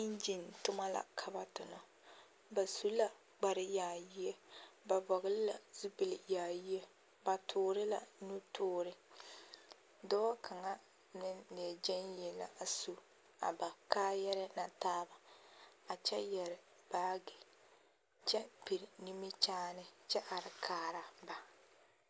Eŋɡyen toma la ka ba tona ba su la kparyaayie ba vɔɡele la zupili yaayie ba tuuri la nu tuuri dɔɔ kaŋa leɛ ɡyaŋ yie la a su a ba kaayarɛɛ na taaba a kyɛ yɛre baaɡe kyɛ piri nimikyaane kyɛ are kaara ba.